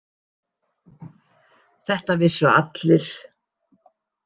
Þetta vissu allir.